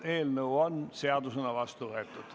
Eelnõu on seadusena vastu võetud.